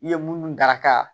I ye munnu daraka